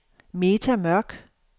Meta Mørch